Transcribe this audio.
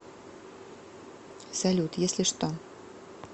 салют если что